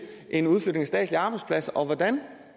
en udflytning af statslige arbejdspladser og hvordan